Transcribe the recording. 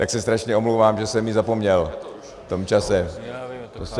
Tak se strašně omlouvám, že jsem ji zapomněl v tom čase.